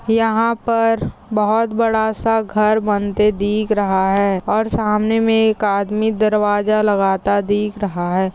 यहाँ पर बहुत बड़ा सा घर बनते दिख रहा है और सामने मे एक आदमी दरवाजा लगाता दिख रहा है।